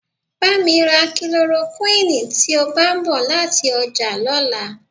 Bá mi ra kílorokúìnnì tí o bá ń bọ̀ láti ọjà lọ́la.